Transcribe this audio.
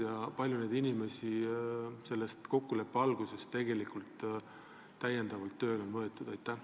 Kui palju on neid inimesi pärast kokkuleppe sõlmimist tegelikult tööle võetud?